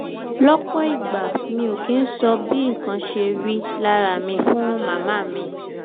lọ́pọ̀ ìgbà mi ò kì í sọ bí nǹkan ṣe rí lára mi fún màmá mi